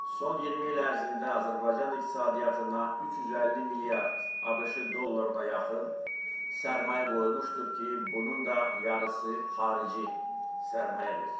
Son 20 il ərzində Azərbaycan iqtisadiyyatına 350 milyard ABŞ dollarına yaxın sərmayə qoyulmuşdur ki, bunun da yarısı xarici sərmayədir.